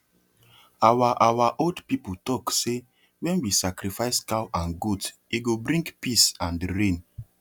our our old people talk say when we sacrifice cow and goat e go bring peace and rain